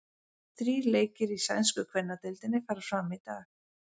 Þrír leikir í sænsku kvennadeildinni fara fram í dag.